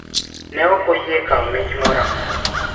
Ne ok oyie kawo mich moro amora.